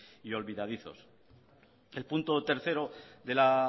y olvidadizos el punto tercero de la